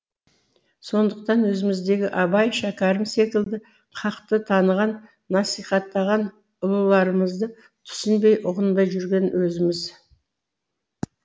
сондықтан өзіміздегі абай шәкәрім секілді хақты таныған насихаттаған ұлыларымызды түсінбей ұғынбай жүрген өзіміз